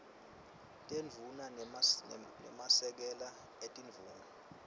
tindvuna nemasekela etindvuna